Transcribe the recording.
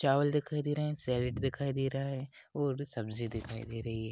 चावल दिखाई दे रहा हैं सैलड़ दिखाई दे रहा हैं और सब्जी दिखाई दे रही हैं।